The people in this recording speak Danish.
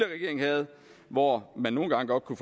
regering havde hvor man nogle gange godt kunne